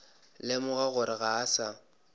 lemoga gore ga a sa